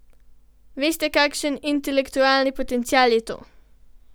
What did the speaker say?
Veste, kakšen intelektualni potencial je to!